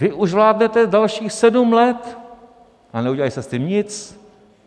Vy už vládnete dalších sedm let a neudělali jste s tím nic.